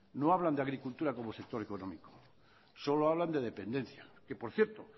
no hablan de agricultura como sector económico solo hablan de dependencia que por cierto